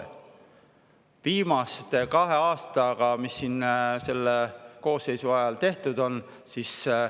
Mis siin viimase kahe aastaga selle koosseisu ajal tehtud on?